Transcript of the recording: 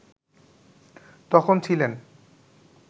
তখন ছিলেন